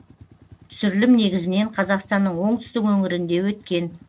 түсірілім негізінен қазақстанның оңтүстік өңірінде өткен